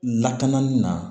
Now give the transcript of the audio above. Lakanali na